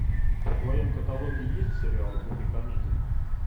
в твоем каталоге есть сериал в духе комедия